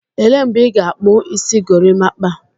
Elee mgbe ị ga-akpu isi gorimakpa?